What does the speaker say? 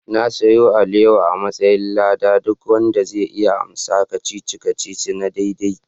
Na sayo alewa a'matsayin lada ma duk wanda zai iya amsa kacici-kacici na daidai.